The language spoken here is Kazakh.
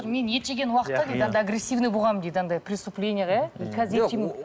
мен ет жеген уақытта дейді агрессивный болғанмын дейді андай преступленияға иә қазір